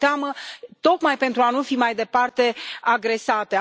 Au teamă tocmai pentru a nu fi mai departe agresate.